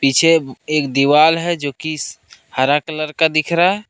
पीछे एक दीवाल है जो कि हरा कलर का दिख रहा।